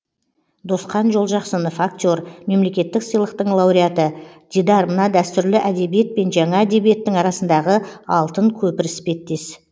досқан жолжақсынов актер мемлекеттік сыйлықтың лауреаты дидар мына дәстүрлі әдебиет пен жаңа әдебиеттің арасындағы алтын көпір іспеттес